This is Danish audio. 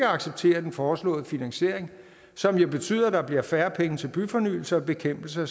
acceptere den foreslåede finansiering som betyder at der bliver færre penge til byfornyelse og bekæmpelse af